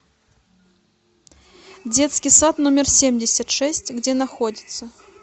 детский сад номер семьдесят шесть где находится